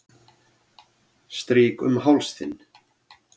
Strýk um háls þinn.